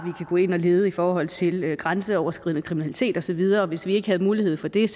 ind og lede i forhold til grænseoverskridende kriminalitet og så videre hvis vi ikke havde mulighed for det